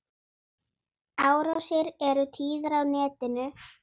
Árásir eru tíðar á netinu.